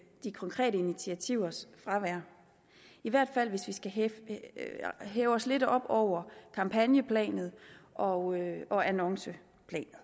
de konkrete initiativers fravær i hvert fald hvis vi skal hæve hæve os lidt op over kampagneplanet og og annonceplanet